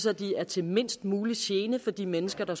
at de er til mindst mulig gene for de mennesker der